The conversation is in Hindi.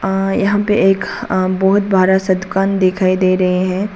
यहां पे एक बहोत बड़ा सा दुकान दिखाई दे रहे हैं।